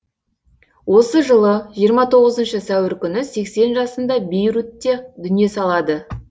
осы жылы жиырма тоғызыншы сәуір күні сексен жасында бейрутте дүние салады